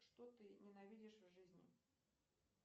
что ты ненавидишь в жизни